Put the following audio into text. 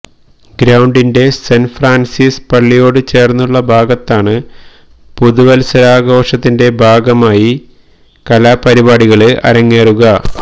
ഗ്രൌണ്ടിന്റെ Saint Francis പള്ളിയോട് ചേര്ന്നുള്ള ഭാഗത്താണ് പുതുവത്സരാഘോഷത്തിന്റെ ഭാഗമായി കലാപരിപാടികള് അരങ്ങേറുക